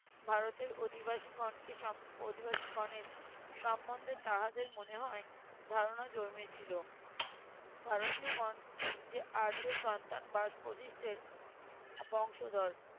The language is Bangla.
ভারতীয় অধিবাসীগণকে অধিবাসীগণের সম্বন্ধে তাহাদের মনে হয় ধারণা জন্মেছিল ভারতীয়গণ যে আর্য সন্তান বাস বশিষ্ঠের বংশধর